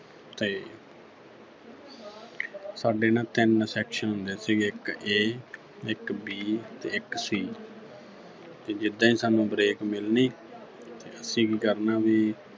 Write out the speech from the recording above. ਤੇ ਸਾਡੇ ਨਾ ਤਿੰਨ section ਸੀਗੇ ਇੱਕ A ਇੱਕ B ਤੇ ਇੱਕ C ਤੇ ਜਿੱਦੇਂ ਸਾਨੂੰ break ਮਿਲਣੀ ਅਸੀਂ ਕੀ ਕਰਨਾ ਵੀ